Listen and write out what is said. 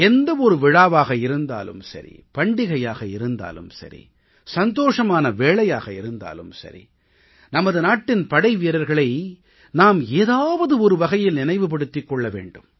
எந்த ஒரு விழாவாக இருந்தாலும் சரி பண்டிகையாக இருந்தாலும் சரி சந்தோஷமான வேளையாக இருந்தாலும் சரி நமது நாட்டின் படைவீரர்களை நாம் ஏதாவது ஒரு வகையில் நினைவு படுத்திக் கொள்ள வேண்டும்